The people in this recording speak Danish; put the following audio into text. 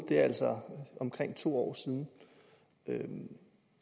det er altså omkring to år siden